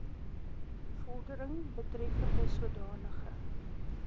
vordering betreffende sodanige